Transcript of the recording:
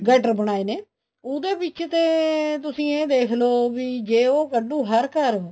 gutter ਬਣਾਏ ਨੇ ਉਹਦੇ ਵਿੱਚ ਤੇ ਤੁਸੀਂ ਇਹ ਦੇਖਲੋ ਵੀ ਜ਼ੇ ਉਹ ਕੱਡੂ ਹਰ ਘਰ